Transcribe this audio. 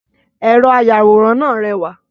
Ẹ̀rọ àyawòran náà rẹwà